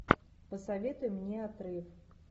посоветуй мне отрыв